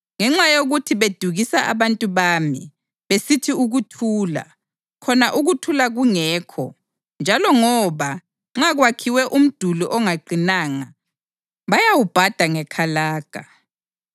Ngenxa yokuthi bedukisa abantu bami, besithi “Ukuthula,” khona ukuthula kungekho, njalo ngoba, nxa kwakhiwe umduli ongaqinanga, bayawubhada ngekalaga,